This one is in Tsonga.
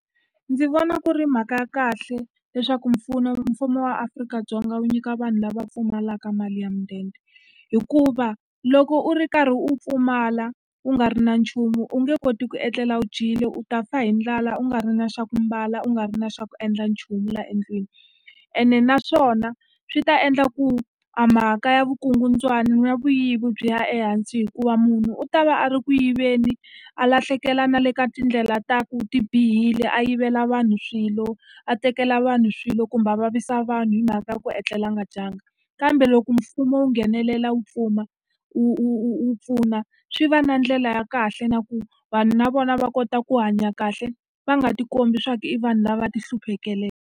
Ndzi vona ku ri mhaka ya kahle leswaku mfumo wa Afrika-Dzonga wu nyika vanhu lava pfumalaka mali ya mudende. Hikuva loko u ri karhi u pfumala u nga ri na nchumu, u nge koti ku etlela wu dyile, u ta fa hi ndlala, u nga ri na xa ku ambala, u nga ri na xa ku endla nchumu laha endlwini. Ene naswona swi ta endla ku a mhaka ya vukungundwani, ya vuyivi byi ya ehansi hikuva munhu u ta va a ri ku yiveni, a lahlekela na le ka tindlela ta ku ti bihile, a yivela vanhu swilo, a tekela vanhu swilo kumbe a vavisa vanhu hi mhaka ya ku etlelanga dyanga. Kambe loko mfumo wu nghenelela wu wu wu wu pfuna, swi va na ndlela ya kahle na ku vanhu na vona va kota ku hanya kahle, va nga ti kombi leswaku i vanhu lava ti hluphekalaka.